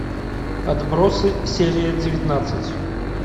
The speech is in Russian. отбросы серия девятнадцать